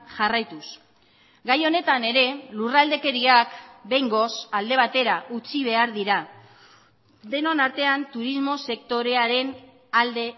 jarraituz gai honetan ere lurraldekeriak behingoz alde batera utzi behar dira denon artean turismo sektorearen alde